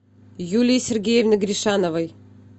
юлии сергеевны гришановой